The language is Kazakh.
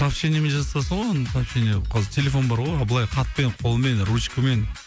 сообщениемен жаза саласың ғой оны сообщение қазір телефон бар ғой а былай хатпен қолмен ручкамен